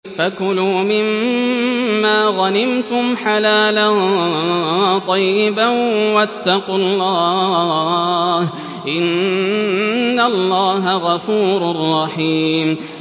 فَكُلُوا مِمَّا غَنِمْتُمْ حَلَالًا طَيِّبًا ۚ وَاتَّقُوا اللَّهَ ۚ إِنَّ اللَّهَ غَفُورٌ رَّحِيمٌ